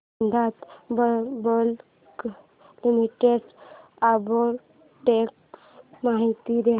Vedanta public limited arbitrage माहिती दे